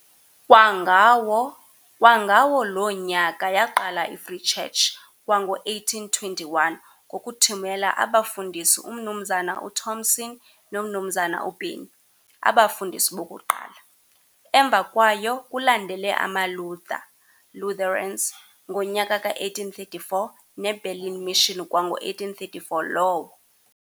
Kwangawo loo nyaka yaqala i-Free Church kwango-1821 ngokuthumela abafundisi umnumzana uThomson nomnumzana uBennie, abafundisi bokuqala. Emva kwayo kulandele amaLutha, Lutherans, ngonyaka ka-1834, neBerlin Mission kwango-1834 lowo.